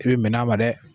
I bɛ bɛnn'a ma dɛ